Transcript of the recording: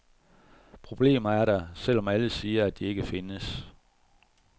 Problemerne er der, selv om alle siger, at de ikke findes.